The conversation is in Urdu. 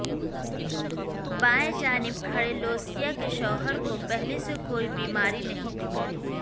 بائیں جانب کھڑے لوسیا کے شوہر کو پہلے سے کوئی بیماری نہیں تھی